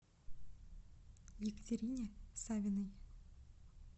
екатерине савиной